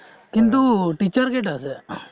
কিন্তু teacher কেইটা আছে?